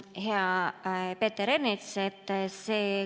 Hea Peeter Ernits!